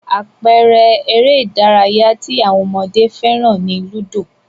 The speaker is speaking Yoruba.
Àpẹẹrẹ eré-idárayá tí àwọn ọmọdé fẹ́ràn ni ludo.